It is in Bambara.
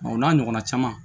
o n'a ɲɔgɔnna caman